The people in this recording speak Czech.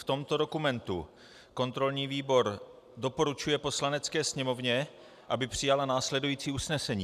V tomto dokumentu kontrolní výbor doporučuje Poslanecké sněmovně, aby přijala následující usnesení: